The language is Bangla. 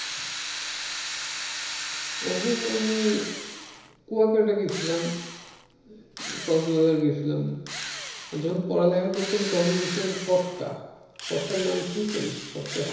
এখন আমি কুয়াকাটা গেছিলাম। কক্সবাজার গেছিলাম যখন পড়ালেখা করতাম তখন গেছিলাম কটকা । কটকা শুনছেন?